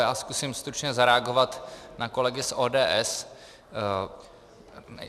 Já zkusím stručně zareagovat na kolegy z ODS.